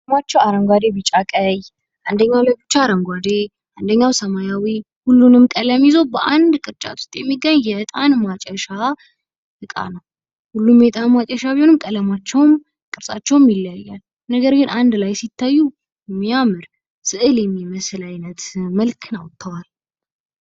እዚህ ምስለ ላይ የምናያቸው አረንጓዴ ፥ ቢጫ ፥ ቀይ አንደኛው አረንጓዴ፥ አንደኛው አንደኛው ሰማያዊ ሁሉንም ቀለም ይዞ በአንድ ቅርጫት ውስጥ የሚገኝ የዕጣን ማጨሻ እቃን ነው። ነገር ግን ሁሉም እጣን ማጨሻ ቢሆኑም ቀለማቸውም ቅርጻቸውም ይለያያል ነገር ግን አንድ ላይ ስታዩ የሚያምር ስዕል የሚመስል ውበትን አውጥተዋል።